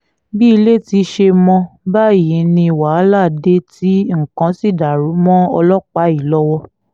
bí ilé ti ṣe mọ́ báyìí ni wàhálà dé tí nǹkan sì dàrú mọ́ ọlọ́pàá yìí lọ́wọ́